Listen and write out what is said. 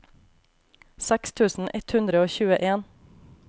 seks tusen ett hundre og tjueen